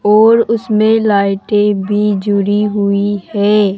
और उसमें लाइटे भी जुड़ी हुई है।